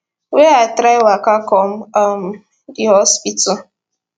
wey i try waka come um di hospital